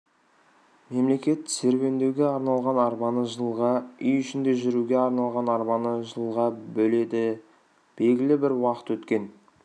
мемлекет серуендеуге арналған арбаны жылға үй ішінде жүруге арналған арбаны жылға бөледі белгілі бір уақыт өткен